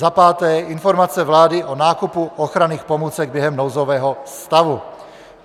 Za páté, informace vlády o nákupu ochranných pomůcek během nouzového stavu.